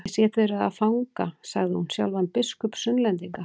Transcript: Ég sé þið eruð með fanga, sagði hún, sjálfan biskup Sunnlendinga.